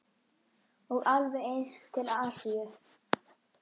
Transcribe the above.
Og alveg eins til Asíu.